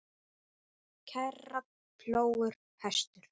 kerra, plógur, hestur.